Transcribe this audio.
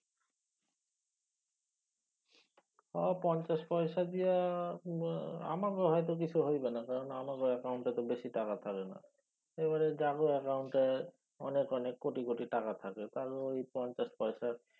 হ পঞ্চাশ পয়সা দিয়া আমাগো হয়ত কিছু হইবে না কারণ আমাগো অ্যাকাউন্ট বেশি টাকা থাকে না। এইবারে জাগো অ্যাকাউন্ট এ অনেক অনেক কোটি কোটি টাকা থাকে তাগ ঐ পঞ্চাশ পয়সা